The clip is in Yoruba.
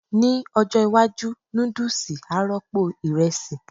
Ní ọjọ́ iwájú, núdùsì á rọ́pò ìrẹsì